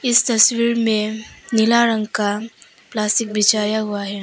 इस तस्वीर में नीला रंग का प्लास्टिक बिछाया हुआ है।